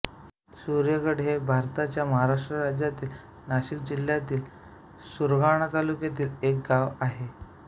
सूर्यगड हे भारताच्या महाराष्ट्र राज्यातील नाशिक जिल्ह्यातील सुरगाणा तालुक्यातील एक गाव आहे